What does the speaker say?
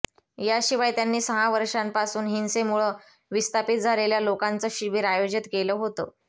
याशिवाय त्यांनी सहा वर्षांपासून हिंसेमुळं विस्थापित झालेल्या लोकांचं शिबीर आयोजित केलं होतं